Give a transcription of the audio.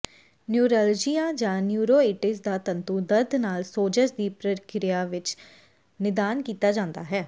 neuralgia ਜਾਂ neuritis ਦਾ ਤੰਤੂ ਦਰਦ ਨਾਲ ਸੋਜ਼ਸ਼ ਦੀ ਪ੍ਰਕਿਰਿਆ ਵਿੱਚ ਨਿਦਾਨ ਕੀਤਾ ਜਾਂਦਾ ਹੈ